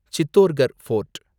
Chittorgarh fort